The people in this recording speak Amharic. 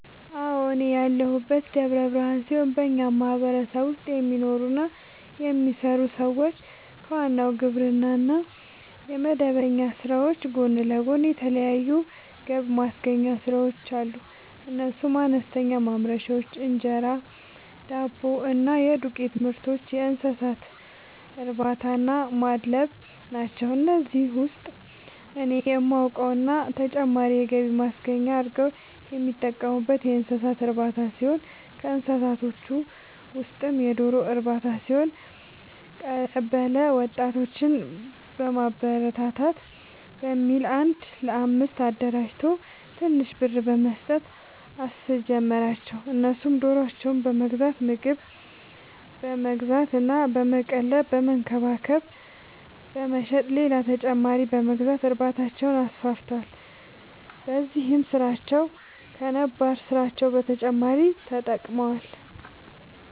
አዎ፤ እኔ ያለሁት ደብረ ብርሃን ሲሆን በኛ ማህበረሰብ ውስጥ የሚኖሩ እና የሚሰሩ ሰዎች ከዋናው የግብርና እና የመደበኛ ስራዎች ጎን ለጎን የተለያዩ ገብማስገኛ ስራዎች አሉ፤ እነሱም፦ አነስተኛ ማምረቻዎች(እንጀራ፣ ዳቦ እና የዱቄትምርቶች)፣የእንሰሳትእርባታናማድለብ ናቸው። ከነዚህ ውስጥ እኔ የማውቀው እና ተጨማሪ የገቢ ማስገኛ አርገው የሚጠቀሙበት የእንሰሳት እርባታ ሲሆን ከእንስሳዎቹ ውስጥም የዶሮ ርባታ ሲሆን፤ ቀበለ ወጣቶችን ለማበረታታት በሚል አንድ ለአምስት አደራጅቶ ትንሽ ብር በመስጠት አስጀመራቸው እነሱም ዶሮዎችን በመግዛት ምግብ በመግዛት እና በመቀለብ በመንከባከብ በመሸጥ ሌላ ተጨማሪ በመግዛት እርባታቸውን አስፋፍተዋል። በዚህም ስራቸው ከነባር ስራቸው በተጨማሪ ጠቅሞዋቸዋል።